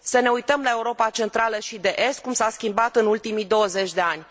Să ne uităm la Europa Centrală și de Est cum s a schimbat în ultimii 20 de ani.